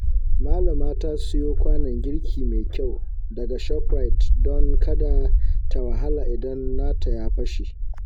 Malamar ta siyo kwanon girki mai kyau daga Shoprite don kada ta wahala idan nata ya fashe.